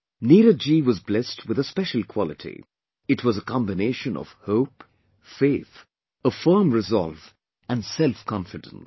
Neeraj ji was blessed with a special quality... it was a combination of hope, faith, a firm resolve and selfconfidence